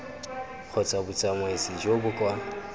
kgotsa botsamaisi jo bo kwa